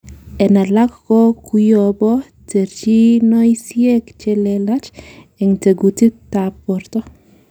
En alak ko koyobu terchinoisiek chelelach en tekutikab borto.